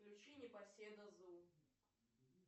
включи непоседа зу